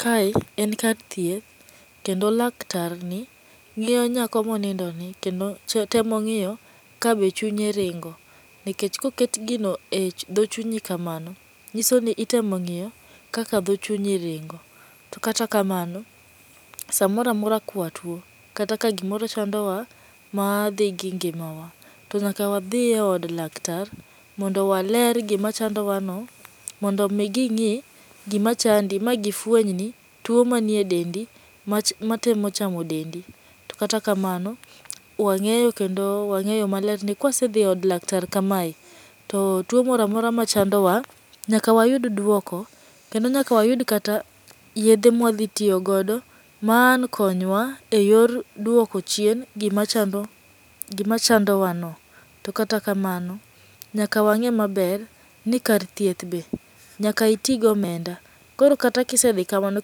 Kae en kar thieth, kendo laktar ni, ng'iyo nyako monindoni. Kendo temo ng'iyo ka be chunye ringo nikech koket gino edho chunyi kamano nyiso ni itemo ng'iyo kaka dho chunyi ringo. To kata kamano samoro amora ka watuo kata ka gimoro chandowa madhi gi ngimawa to nyaka wadhi eod laktar mondo waler gima chandowano mondo mi ging'i gimachandi magifueny ni tuo manie dendi mach matemo chamo dendi to katakamano, wang'eyo kendo wang'eyo maler ni kawasedhi od laktar kamae to tuo moro amoro machandowa nyaka wayud duoko kendo nyaka wayud kata yedhe ma wadhi tiyo godo maang' konywa eyor duoko chien gima chando gima chandowano. To kata kamano nyaka wang'e maler ni kar thieth be nyaka iti gi omenda, koro kata ka isedhi kamano,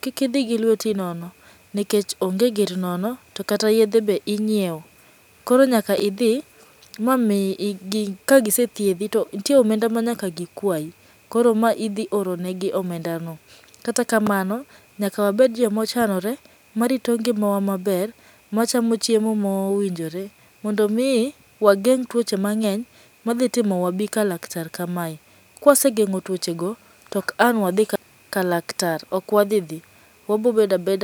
kik idhi gi lweti nononikech onge gir nono to kata yedhe be inyiewo koro nyaka idhi kagise thuedhi to nitie omenda manyaka gikwayi. Koro idhi oro negi omendano. Kata kamanao nyaka wabed joma ochanore marito ngimawa maber, machamo chiemo mowinjore mondo mi wageng' tuoche mang'eny madhi timo wabi ka laktar kamae. Kawase geng'o tuochego to ang' ok wadhi kalaktar. Ok wadhi dhi, wabiro bedo abeda